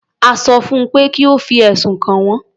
A sọ fún pé kí ó fi ẹ̀sùn kàn wọ́n.